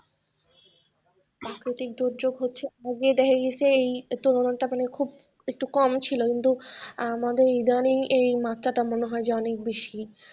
প্রাকৃতিক দুর্যোগ হচ্ছে আগে দেখা গেছে এই মাত্রা খুব একটু কম ছিল কিন্তু আমাদের ইদানিং এই মাত্রাটা মনে হয় যে অনেক বেশি।